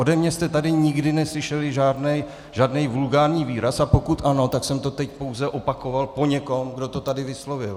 Ode mě jste tady nikdy neslyšeli žádný vulgární výraz, a pokud ano, tak jsem to teď pouze opakoval po někom, kdo to tady vyslovil.